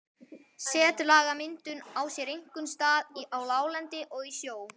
Setlagamyndun á sér einkum stað á láglendi og í sjó.